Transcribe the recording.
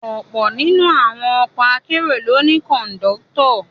Ọ̀pọ̀ nínú àwọn ọkọ akérò ló ní Kọ̀ńdọ́tọ̀